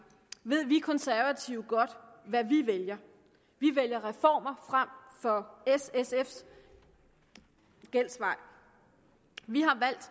ved vi konservative godt hvad vi vælger vi vælger reformer frem for s sfs gældsvej vi